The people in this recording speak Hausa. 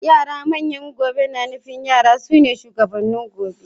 Yara manyan gobe na nufin yara sune shugabannin gobe.